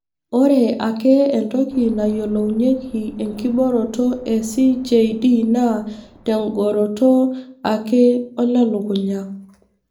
Ore ake enkoitoi nayiolounyeki ekiboroto e CJD na tengoroto ake olelukunya .